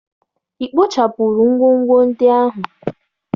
Ị kpochapụrụ ngwongwo ndị ahụ?